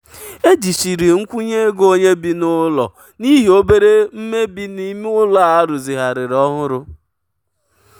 ejichiri nkwụnye ego onye bi n'ụlọ n'ihi obere mmebi n'ime ụlọ a rụzigharịrị ọhụrụ. um